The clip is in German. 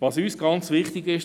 Was uns ganz wichtig ist: